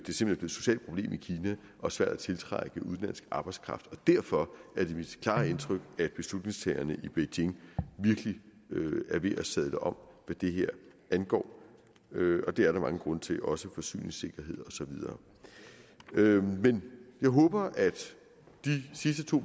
socialt problem i kina og svært at tiltrække udenlandsk arbejdskraft derfor er det mit klare indtryk at beslutningstagerne i beijing virkelig er ved at sadle om hvad det her angår og det er der mange grunde til også forsyningssikkerhed og så videre jeg håber at de sidste to